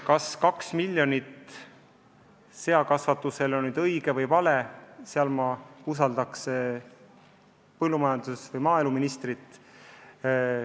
Kas kaks miljonit seakasvatusele on nüüd õige või vale – selles ma usaldaksin maaeluministrit.